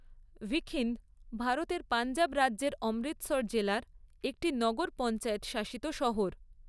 ভিখিন্দ ভারতের পঞ্জাব রাজ্যের অমৃতসর জেলার একটি নগর পঞ্চায়েত শাসিত শহর।